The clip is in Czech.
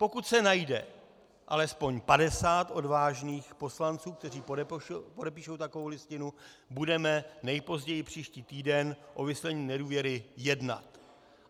Pokud se najde alespoň 50 odvážných poslanců, kteří podepíší takovou listinu, budeme nejpozději příští týden o vyslovení nedůvěry jednat.